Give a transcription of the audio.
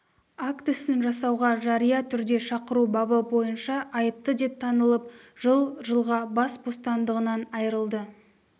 актісін жасауға жария түрде шақыру бабы бойынша айыпты деп танылып жыл жылға бас бостандығынан айырылды